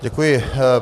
Děkuji.